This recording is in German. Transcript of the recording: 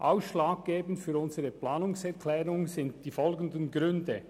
Ausschlaggebend für unsere Planungserklärung sind die folgenden Gründe: